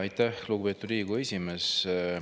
Aitäh, lugupeetud Riigikogu esimees!